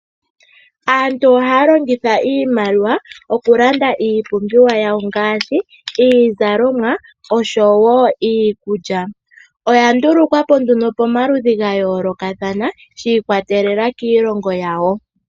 Aantu ohaya longitha iimaliwa okulanda iipumbiwa yawo ngaashi iizalomwa oshowo iikulya. Oya ndulukwa po nduno pomaludhi ga yoolokathana shi ikwatelela kiilongo yawo.